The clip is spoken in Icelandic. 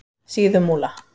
Síðumúla